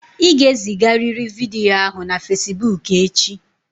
Ị ga-ezigarịrị vidiyo ahụ na Fesiboku echi!